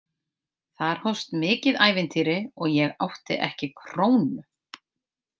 Þar hófst mikið ævintýri og ég átti ekki krónu.